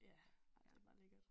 Ja ej det bare lækkert